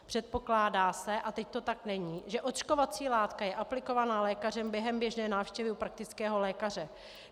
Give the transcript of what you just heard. Předpokládá se, a teď to tak není, že očkovací látka je aplikovaná lékařem během běžné návštěvy u praktického lékaře.